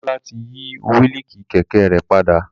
Damilola ti yi willi kẹkẹ rẹ pada.